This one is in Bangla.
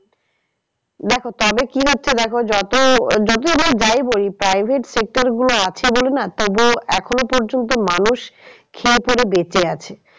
দেখো তবে কি হচ্ছে দেখো যত private sector গুলো আছে বলে না তবু এখনো পর্যন্ত মানুষ খেয়ে পরে বেঁচে আছে।